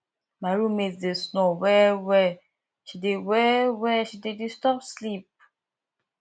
my room mate dey snore wellwell she dey wellwell she dey disturb sleep